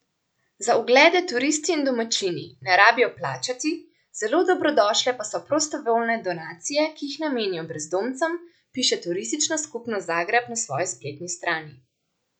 Za oglede turisti in domačini ne rabijo plačati, zelo dobrodošle pa so prostovoljne donacije, ki jih namenijo brezdomcem, piše turistična skupnost Zagreb na svoji spletni strani.